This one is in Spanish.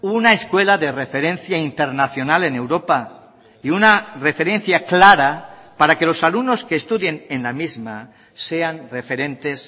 una escuela de referencia internacional en europa y una referencia clara para que los alumnos que estudien en la misma sean referentes